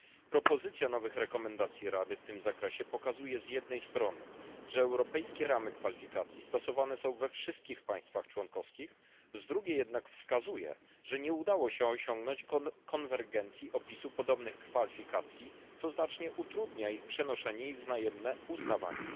Propozycja nowych zaleceń Rady w tym zakresie pokazuje z jednej strony, że europejskie ramy kwalifikacji stosowane są we wszystkich państwach członkowskich, z drugiej jednak wskazuje, że nie udało się osiągnąć konwergencji opisu podobnych kwalifikacji, co znacznie utrudnia ich przenoszenie i wzajemne uznawanie.